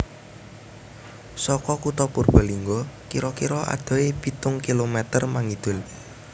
Saka Kutha Purbalingga kira kira adohé pitung kilometer mangidul